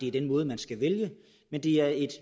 er den måde man skal vælge men det er en